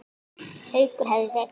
Haukur hefðu veikst.